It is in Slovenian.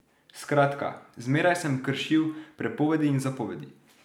Skratka, zmeraj sem kršil prepovedi in zapovedi.